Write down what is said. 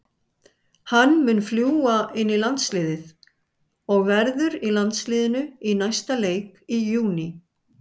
Hann mun fljúga inn í landsliðið og verður í landsliðinu í næsta leik í júní.